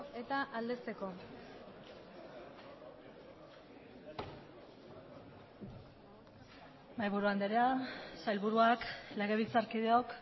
eta aldezteko mahaiburu andrea sailburuak legebiltzarkideok